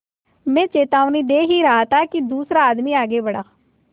मैं चेतावनी दे ही रहा था कि दूसरा आदमी आगे बढ़ा